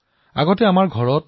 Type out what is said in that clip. স্পেৰ অৰ্থাৎ ঘৰচিৰিকা